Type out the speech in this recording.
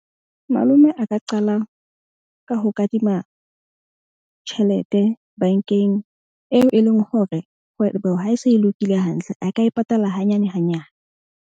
Malome a ka qala ka ho kadima tjhelete bank-eng eo e leng hore kgwebo ha e se e lokile hantle, a ka e patala hanyane hanyane.